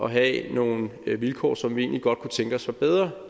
have nogle vilkår som vi egentlig godt kunne tænke os var bedre